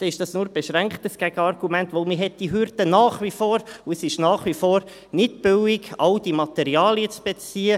Dann ist dies nur beschränkt ein Gegenargument, denn man hat diese Hürden nach wie vor, und es ist nach wie vor nicht billig, all die Materialien zu beziehen.